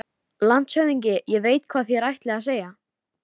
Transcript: LANDSHÖFÐINGI: Ég veit, hvað þér ætlið að segja.